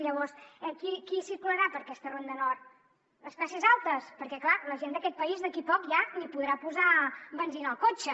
llavors qui circularà per aquesta ronda nord les classes altes perquè clar la gent d’aquest país d’aquí a poc ja ni podrà posar benzina al cotxe